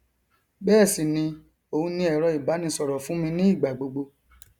bẹẹ sì ni òun ni ẹrọ ìbánisọrọ fún mi ní ìgbà gbogbo